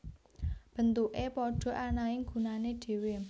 Bentuke padha ananging gunane dhewe